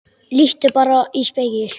Líttu bara í spegil.